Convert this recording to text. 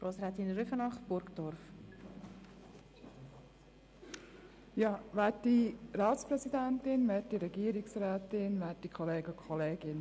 Für die SP-JUSO-PSA-Fraktion hat Grossrätin Rüfenacht das Wort.